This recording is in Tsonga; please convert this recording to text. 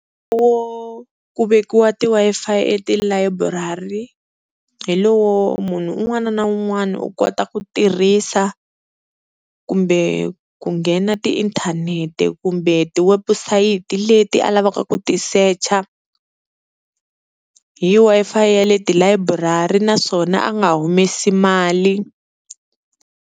ku vekiwa ti-Wi-Fi etilayiburari hi lowo munhu un'wana na un'wana u kota ku tirhisa kumbe ku nghena tiinthanete kumbe tiwebusayiti leti a lavaka ku tisecha hi Wi-Fi ya le tilayiburari naswona a nga humesi mali.